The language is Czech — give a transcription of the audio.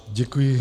Děkuji.